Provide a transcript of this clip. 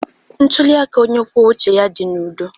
Ntuli aka onye kwuo uche ya dị n'udo.